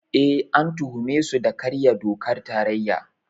Eh, an tuhume su da karya dokar tarayya.